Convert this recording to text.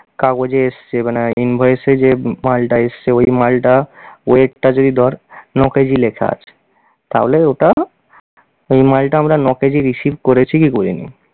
কাগজে এসছে মানে invoice এ যে মালটা এসছে, ওই মালটা weight টা যদি ধর ন-কেজি লেখা আছে তাহলে ওটা ওই মালটা আমরা ন-কেজি receive করেছে কি করিনি।